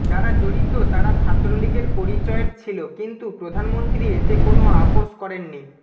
যারা জড়িত তারা ছাত্রলীগের পরিচয়ের ছিল কিন্তু প্রধানমন্ত্রী এতে কোনো আপস করেননি